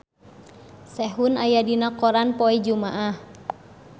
Sehun aya dina koran poe Jumaah